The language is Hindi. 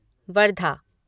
वर्धा